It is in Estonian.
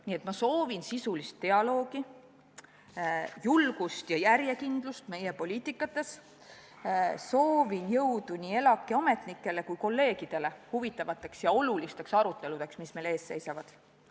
Nii et ma soovin sisulist dialoogi, julgust ja järjekindlust meie poliitikates, soovin jõudu nii ELAK-i ametnikele kui ka kolleegidele huvitavateks ja olulisteks aruteludeks, mis meil ees seisavad.